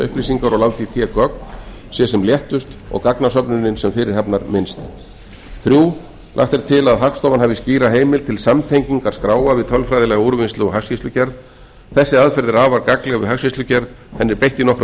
upplýsingar og láta í té gögn sé sem léttust og gagnasöfnunin sem fyrirhafnarminnst þriðja lagt er til að hagstofan hafi skýra heimild til samtengingar skráa við tölfræðilega úrvinnslu og hagskýrslugerð þessi aðferð er afar gagnleg við hagskýrslugerð henni er beitt í nokkrum